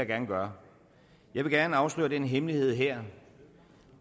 gerne gøre jeg vil gerne afsløre den hemmelighed her